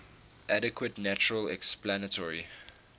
adequate natural explanatory